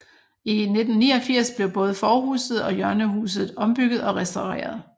I 1989 blev både forhuset og hjørnehuset ombygget og restaureret